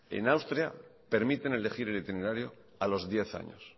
en austria permiten elegir el itinerario a los diez años